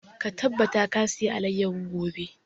Ka tabbata ka saya alayyafo gobe!